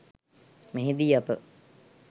මෙහිදී අප